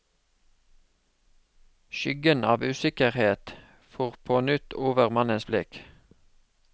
Skyggen av usikkerhet for på nytt over mannens blikk.